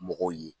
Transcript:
Mɔgɔw ye